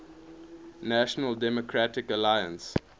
national democratic alliance